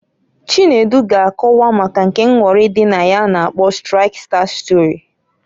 Chinedu ga akowa maka nke nghọrị dị na ya a na-akpo triksta stori.